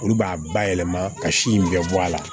Olu b'a bayɛlɛma ka si in bɛɛ bɔ a la